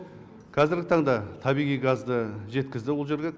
қазіргі таңда табиғи газды жеткізді ол жерге